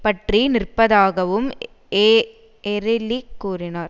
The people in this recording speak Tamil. பற்றி நிற்பதாகவும் எஎரிலி கூறினார்